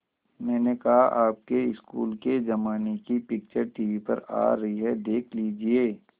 मैंने कहा आपके स्कूल के ज़माने की पिक्चर टीवी पर आ रही है देख लीजिये